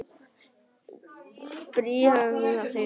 Bréfi ESA var ekki svarað.